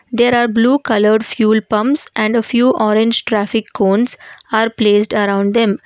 there are blue coloured fuel pumps and a few orange traffic cones are placed around them.